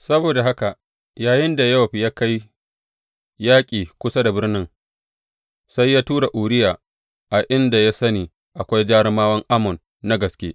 Saboda haka yayinda Yowab ya kai yaƙi kusa da birnin, sai tura Uriya a inda ya sani akwai jarumawan Ammon na gaske.